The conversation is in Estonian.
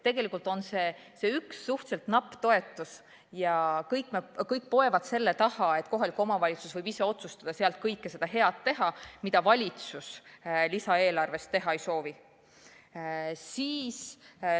Tegelikult on see üks suhteliselt napp toetus, aga kõik poevad selle taha, et kohalik omavalitsus võib ise otsustada selle rahaga teha kõike seda head, mida valitsus lisaeelarvest teha ei soovi.